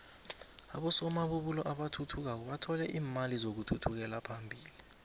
abosomabubulo abathuthukako bathole iimali zokuthuthukela phambili